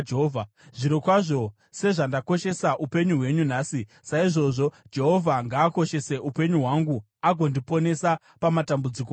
Zvirokwazvo sezvandakoshesa upenyu hwenyu nhasi, saizvozvo Jehovha ngaakoshese upenyu hwangu agondiponesa pamatambudziko ose.”